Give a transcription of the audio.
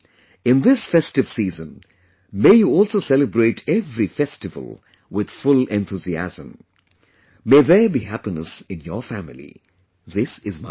In this festive season, may you also celebrate every festival with full enthusiasm... may there be happiness in your family this is my wish